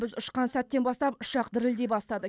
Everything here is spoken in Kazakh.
біз ұшқан сәттен бастап ұшақ дірілдей бастады